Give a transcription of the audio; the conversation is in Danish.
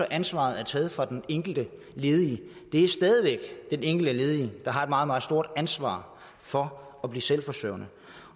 ansvaret er taget fra den enkelte ledige det er stadig væk den enkelte ledige der har et meget meget stort ansvar for at blive selvforsørgende